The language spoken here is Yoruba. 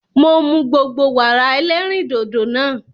Mo mu gbogbo Wàrà ẹlẹ́rìndòdò nàa.